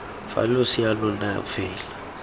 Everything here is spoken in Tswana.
fa losea lo na fela